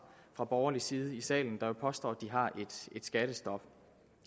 fra borgerlig side i salen der jo påstår at de har et skattestop